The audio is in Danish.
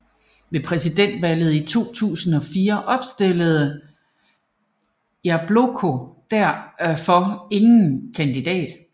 Ved presidentvalget i 2004 opstillede Jabloko derfor ingen kandidat